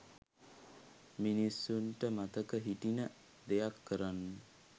මිනිස්සුන්ට මතක හිටින දෙයක් කරන්න.